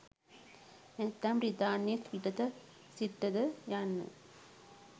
නැත්නම් බ්‍රිතාන්‍යයෙන් පිටත සිටද යන්න